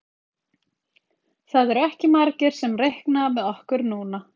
Það eru ekki margir sem reikna með okkur núna.